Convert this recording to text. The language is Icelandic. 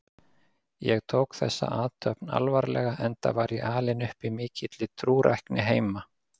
Ég tók þessa athöfn alvarlega enda var ég alinn upp í mikilli trúrækni heima.